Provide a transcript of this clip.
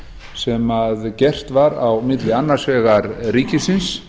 sem gert var á milli annars vegar ríkisins